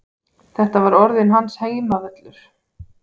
Þetta var orðinn hans heimavöllur.